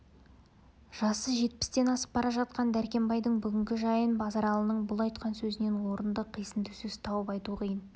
жасы жетпістен асып бара жатқан дәркембайдың бүгінгі жайын базаралының бұл айтқан сөзінен орынды қисынды сөз тауып айту қиын